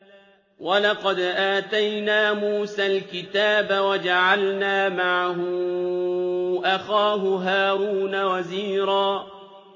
وَلَقَدْ آتَيْنَا مُوسَى الْكِتَابَ وَجَعَلْنَا مَعَهُ أَخَاهُ هَارُونَ وَزِيرًا